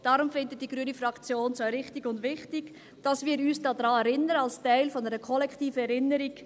Deshalb findet es die grüne Fraktion wichtig und richtig, dass wir uns daran erinnern, als Teil einer kollektiven Erinnerung.